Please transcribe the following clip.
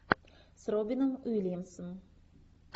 с робином уильямсом